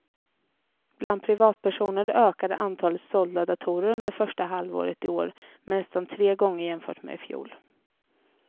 Bland privatpersoner ökade antalet sålda datorer under första halvåret i år med nästan tre gånger jämfört med i fjol.